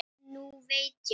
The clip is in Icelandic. Nú veit ég.